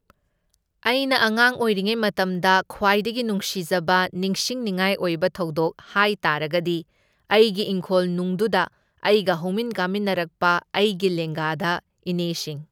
ꯑꯩꯅ ꯑꯉꯥꯡ ꯑꯣꯏꯔꯤꯉꯩ ꯃꯇꯝꯗ ꯈ꯭ꯋꯥꯏꯗꯒꯤ ꯅꯨꯡꯁꯤꯖꯕ ꯅꯤꯡꯁꯤꯡꯅꯤꯡꯉꯥꯏ ꯑꯣꯏꯕ ꯊꯧꯗꯣꯛ ꯍꯥꯏꯇꯥꯔꯒꯗꯤ ꯑꯩꯒꯤ ꯏꯪꯈꯣꯜꯅꯨꯡꯗꯨꯗ ꯑꯩꯒ ꯍꯧꯃꯤꯟ ꯀꯥꯃꯤꯟꯅꯔꯛꯄ ꯑꯩꯒꯤ ꯂꯦꯡꯒꯗ ꯏꯅꯦꯁꯤꯡ